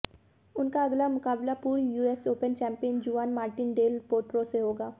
उनका अगला मुकाबला पूर्व US Open champion Juan Martin del Potro से होगा